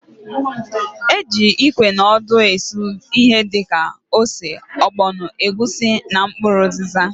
E ji ikwe na odo esu ihe dịka: ose, ọgbọnọ, egwusi na mkpụrụ ụzịza.